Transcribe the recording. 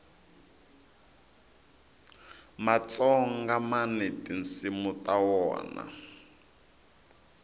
matsonga mani tinsimu ta wona